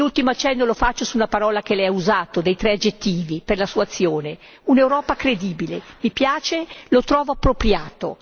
L'ultimo accenno lo faccio sulla parola che Lei ha usato, dei tre aggettivi per la sua azione un'Europa credibile mi piace, lo trovo appropriato